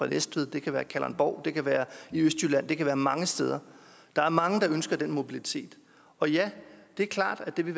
næstved det kan være i kalundborg det kan være i østjylland det kan være mange steder der er mange der ønsker den mobilitet og ja det er klart at det vil